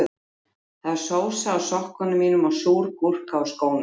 Það er sósa á sokkunum mínum og súr gúrka á skónum